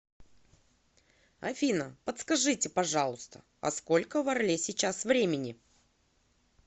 афина подскажите пожалуйста а сколько в орле сейчас времени